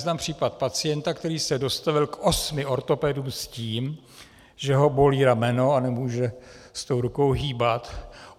Znám případ pacienta, který se dostavil k osmi ortopedům s tím, že ho bolí rameno a nemůže s tou rukou hýbat.